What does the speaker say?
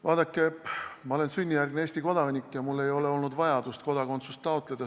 Vaadake, ma olen sünnijärgne Eesti kodanik ja mul ei ole olnud vajadust kodakondsust taotleda.